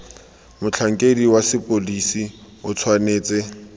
motlhankedi wa sepodisi o tshwanetse